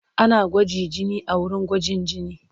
Ana gwaji jini a wurin gwajin jini.